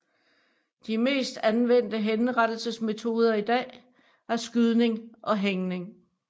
De mest anvendte henrettelsesmetoder i dag er skydning og hængning